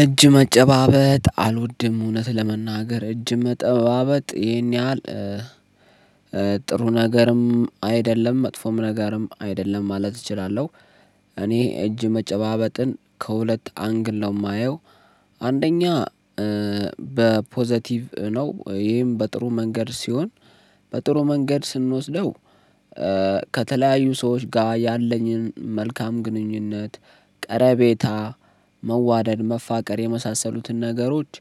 እጅ መጨባበጥ አልወድም እውነት ለመናገር እጅ መጠባበጥ ይሄን ያህል ጥሩ ነገርም አይደለም መጥፎም ነገርም አይደለም ማለት እችላለሁ። እኔ እጅ መጨባበጥን ከሁለት አንግል ነው የማየው። አንደኛ በፖዘቲቭ ነው ይሄም በጥሩ መንገድ ሲሆን በጥሩ መንገድ ስንወስደው። ከተለያዩ ሰዎች ጋር ያለኝን መልካም ግንኙነት ቀረቤታ መዋደድ መፋቀር የመሳሰሉትን ነገሮች።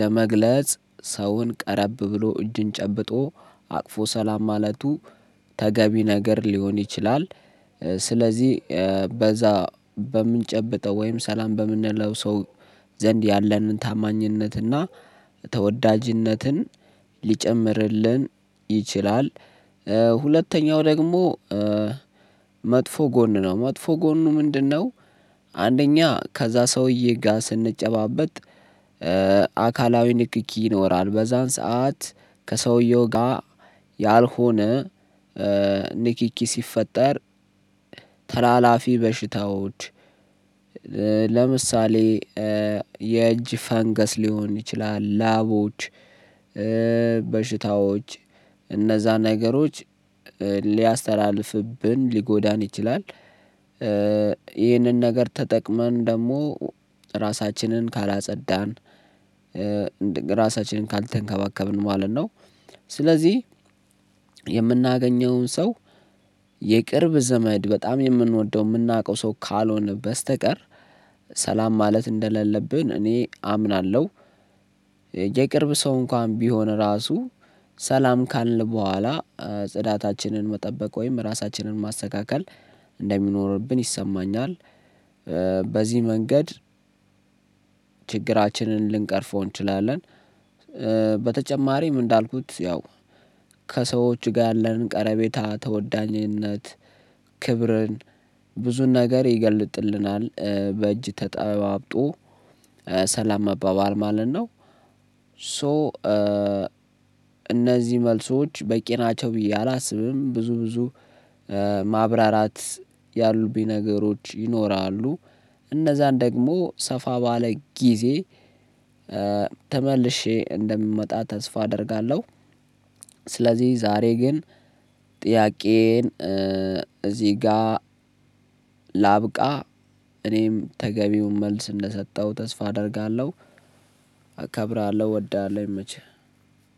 ለመግለጽ ሰውን ቀረብ ብሎ እጅን ጨብጦ አቅፎ ሰላም ማለቱ ተገቢ ነገር ሊሆን ይችላል። ስለዚህ በዛ በምንጨብጠው ወይም ሰላም በምንለው ሰው ዘንድ ያለንን ታማኝነትና ተወዳጅነትን ሊጨምርልን ይችላል። ሁለተኛው ደግሞ መጥፎ ጎን ነው መጥፎ ጎኑ ምንድነው? አንደኛ ከዛ ሰውዬ ጋ ስንጨባበጥ። አካላዊ ንክኪ ይኖራል በዛን ሰዓት ከሰውየው ጋ ያልሆነ ንኪኪ ሲፈጠር ተላላፊ በሽታዎች ለምሳሌ የእጅ ፈንገስ ሊሆን ይችላል። ላቦች በሽታዎች እነዛን ነገሮች ሊያስተላልፍብን ሊጎዳን ይችላል። ይህንን ነገር ተጠቅመን ደግሞ ራሳችንን ካላጸዳን ራሳችንን ካልተንከባከብን ማለት ነው። ስለዚህ የምናገኘውን ሰው የቅርብ ዘመድ በጣም የምንወደው የምናውቀው ሰው ካልሆነ በስተቀር ሰላም ማለት እንደሌለብን እኔ አምናለሁ። የቅርብ ሰው እንኳን ቢሆን ራሱ ሰላም ካልን በኋላ ጽዳታችንን መጠበቅ ወይም ራሳችንን ማስተካከል እንደሚኖርብን ይሰማኛል። በዚህ መንገድ ችግራችንን ልንቀርፈው እንችላለን። በተጨማሪም እንዳልኩት ያው ከሰዎች ጋ ያለንን ቀረቤታ ተወዳኝነት ክብርን ብዙን ነገር ይገልጥልናል በእጅ ተጠባብጦ ሰላም መባባል ማለት ነው። ሶ እነዚህ መልሶች በቂ ናቸው ብዬ አላስብም። ብዙ ብዙ ማብራራት ያሉብኝ ነገሮች ይኖራሉ እነዛን ደግሞ ሰፋ ባለ ጊዜ ተመልሼ እንደምመጣ ተስፋ አደርጋለሁ። ስለዚህ ዛሬ ግን ጥያቄዬን እዚህ ጋ ላብቃ። እኔም ተገቢውን መልስ እንደሰጠው ተስፋ አደርጋለሁ። አከብራለሁ እወዳለሁ ይመችህ።